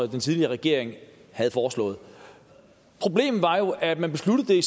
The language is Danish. den tidligere regering havde foreslået problemet var jo at man besluttede det i